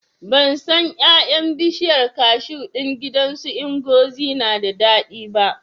Ban san ƴaƴan bishiyar kashu ɗin gidan su Ngozi na da daɗi ba